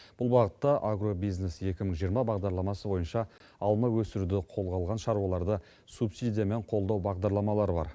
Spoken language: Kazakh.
бұл бағытта агробизнес екі мың жиырма бағдарламасы бойынша алма өсіруді қолға алған шаруаларды субсидиямен қолдау бағдарламалары бар